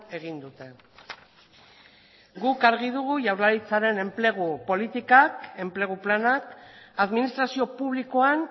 egin dute guk argi dugu jaurlaritzaren enplegu politikak enplegu planak administrazio publikoan